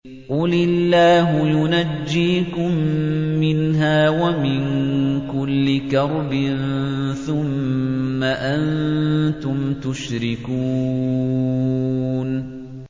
قُلِ اللَّهُ يُنَجِّيكُم مِّنْهَا وَمِن كُلِّ كَرْبٍ ثُمَّ أَنتُمْ تُشْرِكُونَ